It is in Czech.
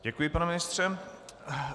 Děkuji, pane ministře.